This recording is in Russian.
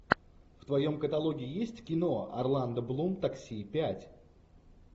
в твоем каталоге есть кино орландо блум такси пять